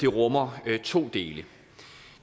rummer to dele